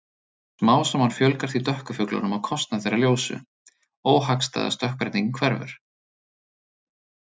Smám saman fjölgar því dökku fuglunum á kostnað þeirra ljósu- óhagstæða stökkbreytingin hverfur.